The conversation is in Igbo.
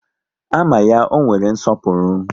A ma ya, ọ nwere nsọpụrụ